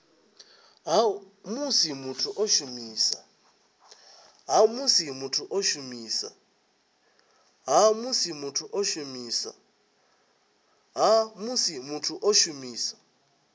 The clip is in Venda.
ha musi muthu o shumisa